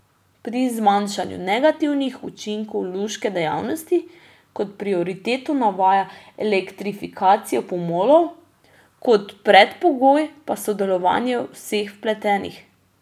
Pri zmanjšanju negativnih učinkov luške dejavnosti kot prioritetno navaja elektrifikacijo pomolov, kot predpogoj pa sodelovanje vseh vpletenih.